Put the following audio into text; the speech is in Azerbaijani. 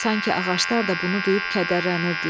Sanki ağaclar da bunu duyub kədərlənirdilər.